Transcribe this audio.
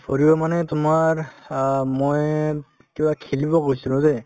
ফুৰিব মানে তোমাৰ অ মই কিবা খেলিব গৈছিলো দে